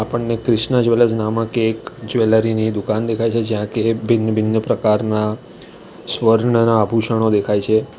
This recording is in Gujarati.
આપણને ક્રિષ્ના જ્વેલર્સ નામક એક જ્વેલરી ની દુકાન દેખાઈ છે જ્યાં કે ભિન્ન ભિન્ન પ્રકારના સ્વર્ણના આભુષણો દેખાઈ છે.